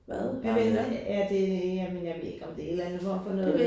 Jamen er det jamen jeg ved ikke om det er en eller anden form for noget